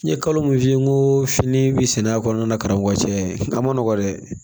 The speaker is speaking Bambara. N ye kalo min f'i ye n ko fini bɛ sɛnɛ a kɔnɔna na karamɔgɔ cɛ a ma nɔgɔn dɛ